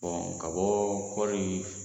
ka bɔ kɔri